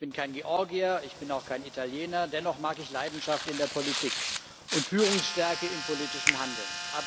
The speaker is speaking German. Ich bin kein Georgier, ich bin auch kein Italiener, dennoch mag ich Leidenschaft in der Politik und Führungsstärke im politischen Handeln.